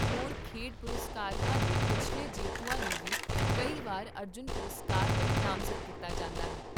ਹੋਰ ਖੇਡ ਪੁਰਸਕਰਵਾਂ ਦੇ ਪਿਛਲੇ ਜੇਤੂਆਂ ਨੂੰ ਵੀ ਕਈ ਵਾਰ ਅਰਜੁਨ ਪੁਰਸਕਾਰ ਲਈ ਨਾਮਜ਼ਦ ਕੀਤਾ ਜਾਂਦਾ ਹੈ